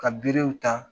Ka berew ta